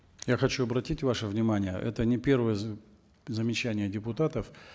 я хочу обратить ваше внимание это не первое замечание депутатов